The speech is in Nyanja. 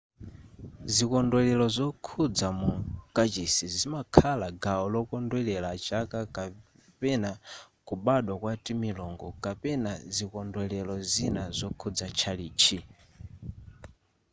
zikondwelero zokhudza mu kachisi zimakhala gawo lokondwelera chaka kapena kubadwa kwa timilungu kapena zikondwelero zina zokhudza tchalitchi